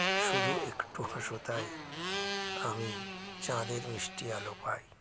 শুধু একটু হাসো তাই আমি চাঁদের মিষ্টি আলো পাই